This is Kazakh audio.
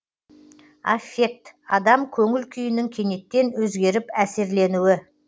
аффект адам көңіл күйінің кенеттен өзгеріп әсерленуі